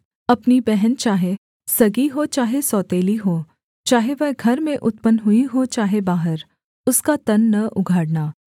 अपनी बहन चाहे सगी हो चाहे सौतेली हो चाहे वह घर में उत्पन्न हुई हो चाहे बाहर उसका तन न उघाड़ना